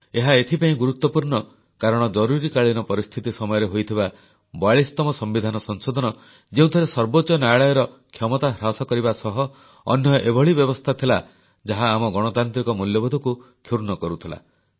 ଏହା ଏଥିପାଇଁ ଗୁରୁତ୍ୱପୂର୍ଣ୍ଣ କାରଣ ଜରୁରୀକାଳୀନ ପରିସ୍ଥିତି ସମୟରେ ହୋଇଥିବା 42ତମ ସମ୍ବିଧାନ ସଂଶୋଧନ ଯେଉଁଥିରେ ସର୍ବୋଚ୍ଚ ନ୍ୟାୟାଳୟର କ୍ଷମତା ହ୍ରାସ କରିବା ସହ ଅନ୍ୟ ଏଭଳି ବ୍ୟବସ୍ଥା ଥିଲା ଯାହା ଆମର ଗଣତାନ୍ତ୍ରିକ ମୂଲ୍ୟବୋଧକୁ କ୍ଷୁର୍ଣ୍ଣ କରୁଥିଲା